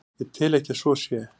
Ég tel ekki að svo sé.